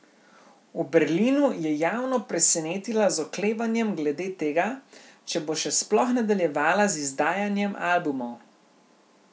V Berlinu je javno presenetila z oklevanjem glede tega, če bo še sploh nadaljevala z izdajanjem albumov.